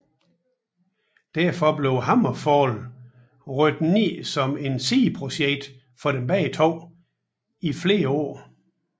Derfor blev HammerFall rykket ned som et sideprojekt for dem begge to i flere år